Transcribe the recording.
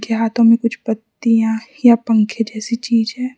ये हाथों में कुछ पत्तियां या पंखे जैसी चीजे है।